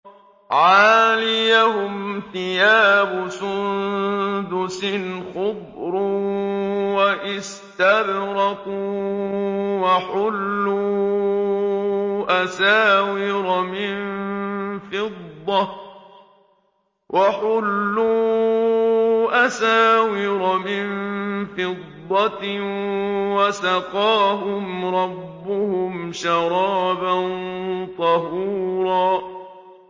عَالِيَهُمْ ثِيَابُ سُندُسٍ خُضْرٌ وَإِسْتَبْرَقٌ ۖ وَحُلُّوا أَسَاوِرَ مِن فِضَّةٍ وَسَقَاهُمْ رَبُّهُمْ شَرَابًا طَهُورًا